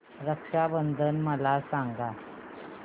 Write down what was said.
रक्षा बंधन मला सांगा